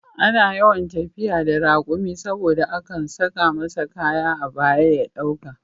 Ana yawan tafiya da raƙumi saboda akan saka masa kaya a baya ya ɗauka